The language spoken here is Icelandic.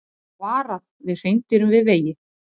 Varað við hreindýrum við vegi